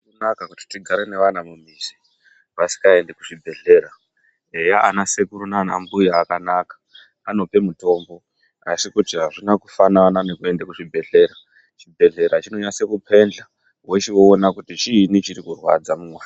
Hazvina kunaka kuti tigare nevana mumizi vasingaendi kuzvibhedhlera eya ana sekuru naanambuya akanaka anopa mutombo asi kuti azvina kufanana nekuenda kuzvibhedhlera chibhedhlera chinonasa kupendla wochiona kuti chiinyi chinonyanya kurwadza mumuntu.